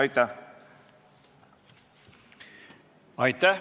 Aitäh!